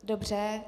Dobře.